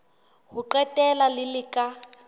ho qetela le le ka